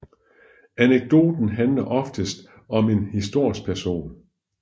Anekdoten handler oftest om en historisk person